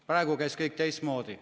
Praegu käis kõik teistmoodi.